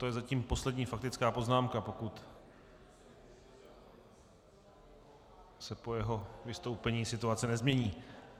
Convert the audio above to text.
To je zatím poslední faktická poznámka, pokud se po jeho vystoupení situace nezmění.